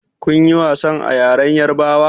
Kun ƴi wasan a ƴaren yarbawa?